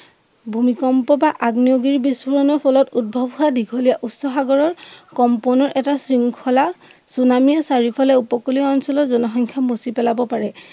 ভূমিকম্প বা আগ্নেয়গিৰি বিস্ফোৰণৰ ফলত উদ্ভৱ হোৱা দীঘলীয়া উচ্চসাগৰৰ কম্পনো এটা শৃংখলা চুনামীৰ চাৰিওফালে উপকূলিয় অঞ্চলৰ জনসংখ্য়া মুচিপেলাব পাৰে